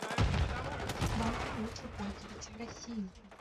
каким банком лучше пользоваться в россии